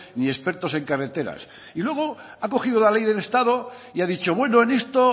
ni expertos en carreteras y luego ha cogido la ley del estado y ha dicho bueno en esto